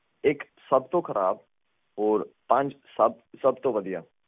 hello ਥੋਡੀ ਆਵਾਜ਼ ਨਹੀਂ ਆ ਰਹੀ ਹੈਲੋ ਹੈਲੋ